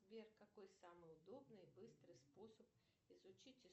сбер какой самый удобный и быстрый способ изучить